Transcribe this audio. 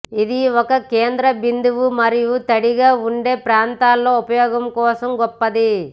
ఇది ఒక కేంద్ర బిందువు మరియు తడిగా ఉండే ప్రాంతాల్లో ఉపయోగం కోసం గొప్పది